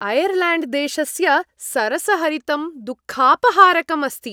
Ireland देशस्य सरसहरितं दुःखापहारकम् अस्ति।